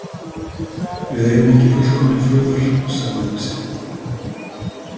Við eigum ekki fullkominn föður, sagði hann síðan.